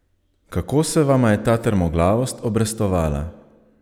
Kako se vama je ta trmoglavost obrestovala?